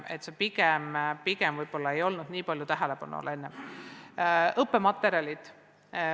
Varem nende töö pigem ei olnud nii suure tähelepanu all.